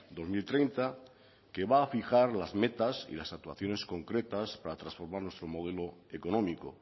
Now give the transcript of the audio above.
dos mil treinta que va fijar las metas y las actuaciones concretas para transformar nuestro modelo económico